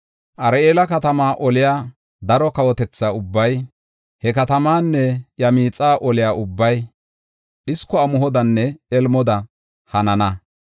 Ar7eela katamaa oliya daro kawotetha ubbay, he katamaanne iya miixa oliya ubbay, iya un7ethiya ubbay dhisko amuhodanne elmoda hanana.